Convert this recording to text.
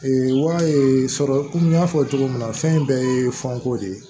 wa ee sɔrɔ komi n y'a fɔ cogo min na fɛn in bɛɛ ye fɛnko de ye